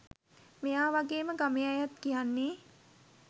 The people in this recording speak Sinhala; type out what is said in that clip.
මෙයා වගේම ගමේ අයත් කියන්නේ